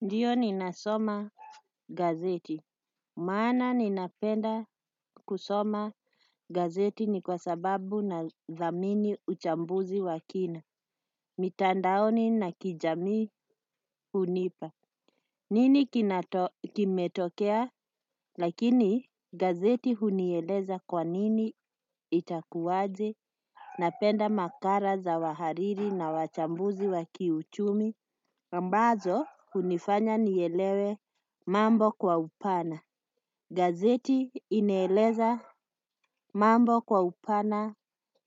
Ndiyo ninasoma gazeti. Maana ninapenda kusoma gazeti ni kwa sababu nadhamini uchambuzi wa kina. Mitandaoni na kijamii hunipa. Nini kimetokea? Lakini gazeti hunieleza kwa nini itakuwaje. Napenda makala za wahariri na wachambuzi wa kiuchumi. Ambazo hunifanya nielewe mambo kwa upana. Gazeti inaeleza mambo kwa upana